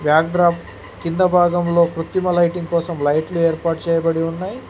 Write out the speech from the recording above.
Back drop కింద భాగంలో కృత్రిమ లైటింగ్ కోసం లైట్లు ఏర్పాటు చేయబడి ఉన్నాయి.